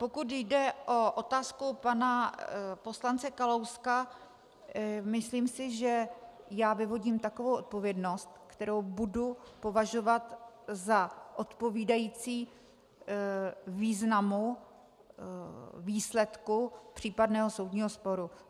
Pokud jde o otázku pana poslance Kalouska, myslím si, že já vyvodím takovou odpovědnost, kterou budu považovat za odpovídající významu výsledku případného soudního sporu.